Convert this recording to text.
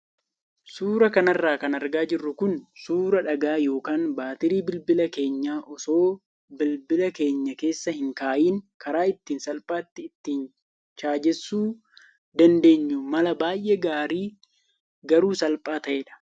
Suuraa kanarra kan argaa jirru kun suuraa dhagaa yookaan baatirii bilbila keenyaa osoo bilbila keenya keessa hin kaayiin karaa ittiin salphaatti ittiin chaajessuu dandeenyu mala baay'ee gaarii garuu salphaa ta'edha.